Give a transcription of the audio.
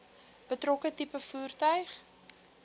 betrokke tipe voertuig